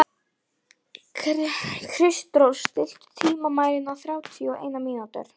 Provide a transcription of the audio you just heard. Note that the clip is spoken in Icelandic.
Kristrós, stilltu tímamælinn á þrjátíu og eina mínútur.